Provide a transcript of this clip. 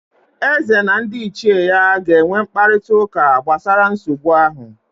Eze na ndị ichie ya ga-enwe mkparịtaụka gbasara nsogbu ahụ